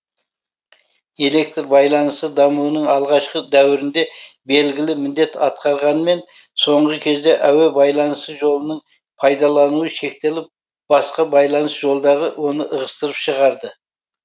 электр байланысы дамуының алғашқы дәуірінде белгілі міндет атқарғанмен соңғы кезде әуе байланыс жолының пайдалануы шектеліп басқа байланыс жолдары оны ығыстырып шығарды